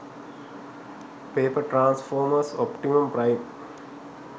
paper transformers optimum prime